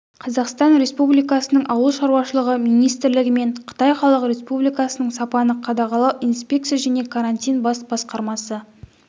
қазақстан республикасының ауыл шаруашылығы министрлігі мен қытай халық республикасының сапаны қадағалау инспекция және карантин бас басқармасы